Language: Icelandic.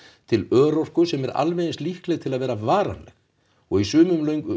til örorku sem er alveg eins líkleg til að vera varanleg og í sumum